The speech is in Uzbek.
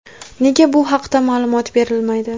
Nega bu haqda ma’lumot berilmaydi.